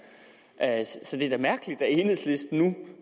så det er da mærkeligt at enhedslisten nu